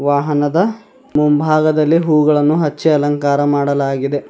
ಮನದ ಮುಂಭಾಗದಲ್ಲಿ ಹೂಗಳನ್ನು ಹಚ್ಚಿ ಅಲಂಕಾರ ಮಾಡಲಾಗಿದೆ.